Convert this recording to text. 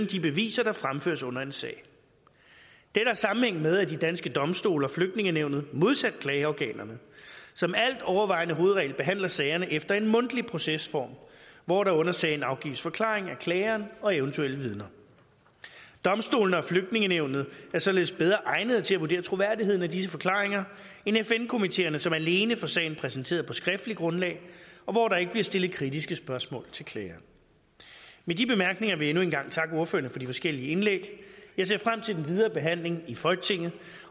de beviser der fremføres under en sag dette har sammenhæng med at de danske domstole og flygtningenævnet modsat klageorganerne som altovervejende hovedregel behandler sagerne efter en mundtlig procesform hvor der under sagen afgives forklaring af klageren og eventuelle vidner domstolene og flygtningenævnet er således bedre egnet til at vurdere troværdigheden af disse forklaringer end fn komiteerne som alene får sagen præsenteret på et skriftligt grundlag og hvor der ikke bliver stillet kritiske spørgsmål til klageren med de bemærkninger vil jeg endnu en gang takke ordførerne for de forskellige indlæg jeg ser frem til den videre behandling i folketinget